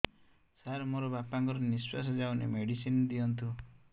ସାର ମୋର ବାପା ଙ୍କର ନିଃଶ୍ବାସ ଯାଉନି ମେଡିସିନ ଦିଅନ୍ତୁ